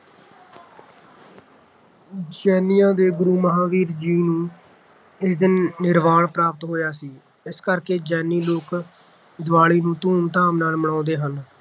ਜੈਨੀਆਂ ਦੇ ਗੁਰੂ ਮਹਾਵੀਰ ਜੀ ਨੂੰ ਇਸ ਦਿਨ ਨਿਰਵਾਨ ਪ੍ਰਾਪਤ ਹੋਇਆ ਸੀ । ਇਸ ਕਰਕੇ ਜੈਨੀ ਲੋਕ ਦੀਵਾਲੀ ਨੂੰ ਧੂਮ ਧਾਮ ਨਾਲ ਮਨਾਉਂਦੇ ਹਨ